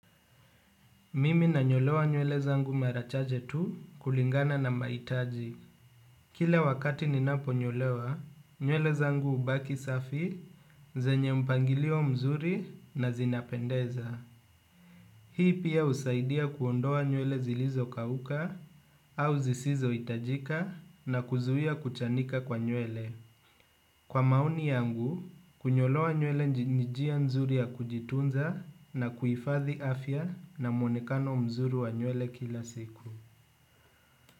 Mimi na nyolewa nywele zangu mara chache tu kulingana na maitaji. Kile wakati ninapo nyolewa, nywele zangu hubaki safi, zenye mpangilio mzuri na zinapendeza. Hii pia usaidia kuondoa nywele zilizo kauka au zisizo hitajika na kuzuia kuchanika kwa nywele. Kwa maoni yangu, kunyolewa nywele nj njia nzuri ya kujitunza na kuhifathi afya na mwonekano mzuri wa nywele kila siku.